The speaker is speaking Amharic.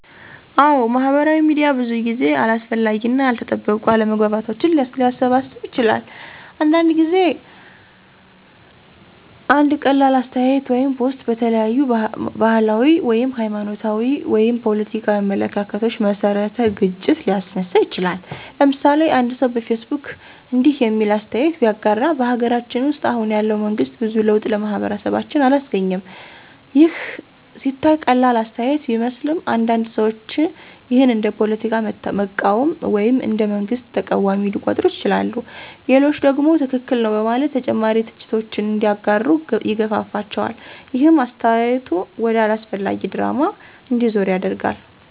አዎ፣ ማህበራዊ ሚዲያ ብዙ ጊዜ አላስፈላጊ እና ያልተጠበቁ አለመግባባቶችን ሊያባብስ ይችላል። አንዳንድ ጊዜ አንድ ቀላል አስተያየት ወይም ፖስት በተለያዩ ባህላዊ፣ ሃይማኖታዊ ወይም ፖለቲካዊ አመለካከቶች መሰረት ግጭት ሊያስነሳ ይችላል። ለምሳሌ፦ አንድ ሰው በፌስቡክ እንዲህ የሚል አስተያየት ቢያጋራ። " በሀገራችን ውስጥ አሁን ያለው መንግስት ብዙ ለውጥ ለማህበረሰባችን አላስገኘም " ይህ ሲታይ ቀላል አስተያየት ቢመስልም፣ አንዳንድ ሰዎች ይህን እንደ ፖለቲካ መቃወም ወይም እንደ መንግስት ተቃዋሚ ሊቆጥሩት ይችላሉ። ሌሎቹ ደግሞ ትክክል ነው በማለት ተጨማሪ ትችቶችን እንዲያጋሩ ይገፋፋቸዋል። ይህም አስተያየቱ ወደ አላስፈላጊ ድራማ እንዲዞር ያደርገዋል።